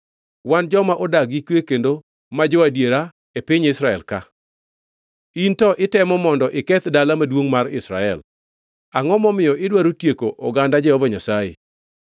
Wan joma odak gi kwe kendo ma jo-adiera e piny Israel ka. In to itemo mondo iketh dala maduongʼ man Israel. Angʼo momiyo idwaro tieko oganda Jehova Nyasaye?”